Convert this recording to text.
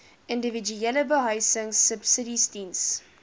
individuele behuisingsubsidies diens